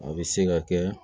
A bɛ se ka kɛ